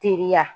Teliya